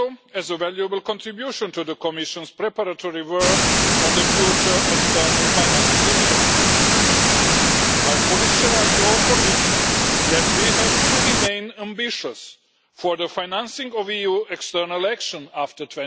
as a valuable contribution to the Commission's preparatory work on the future external financing instruments. I fully share your conviction that we have to remain ambitious in the financing of EU external action after